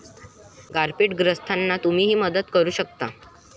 गारपीटग्रस्तांना तुम्हीही मदत करू शकता!